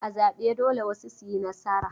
A zabe dole wasu su yi nasara.